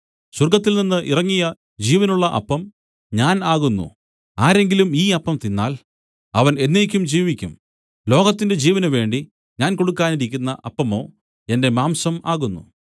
സ്വർഗ്ഗത്തിൽനിന്ന് ഇറങ്ങിയ ജീവനുള്ള അപ്പം ഞാൻ ആകുന്നു ആരെങ്കിലും ഈ അപ്പം തിന്നാൽ അവൻ എന്നേക്കും ജീവിക്കും ലോകത്തിന്റെ ജീവനുവേണ്ടി ഞാൻ കൊടുക്കാനിരിക്കുന്ന അപ്പമോ എന്റെ മാംസം ആകുന്നു